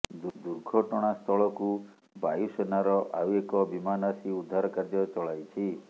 ଦୁର୍ଘଟଣାସ୍ଥଳକୁ ବାୟୁସେନାର ଆଉ ଏକ ବିମାନ ଆସି ଉଦ୍ଧାର କାର୍ଯ୍ୟ ଚଳାଇଛି